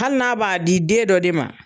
Hali n'a b'a di den dɔ de ma